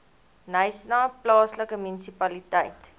knysna plaaslike munisipaliteit